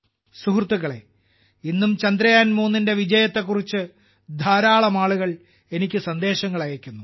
സുഹൃത്തുക്കളേ ഇന്നും ചന്ദ്രയാൻ 3 ന്റെ വിജയത്തെക്കുറിച്ച് ധാരാളം ജനങ്ങൾ എനിക്ക് സന്ദേശങ്ങൾ അയയ്ക്കുന്നു